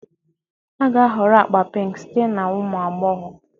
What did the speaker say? A ga-ahọrọ agba pink site na ụmụ agbọghọ